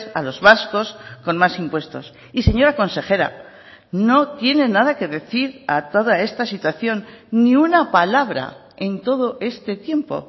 a los vascos con más impuestos y señora consejera no tiene nada que decir a toda esta situación ni una palabra en todo este tiempo